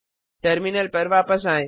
terminal पर वापस आएं